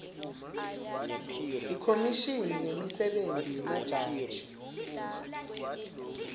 ikhomishini yemisebenti yemajaji